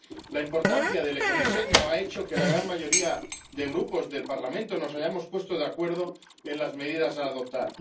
La importancia del ecodiseño ha hecho que la gran mayoría de grupos del Parlamento nos hayamos puesto de acuerdo en las medidas a adoptar.